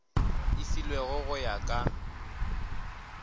e filwego go ya ka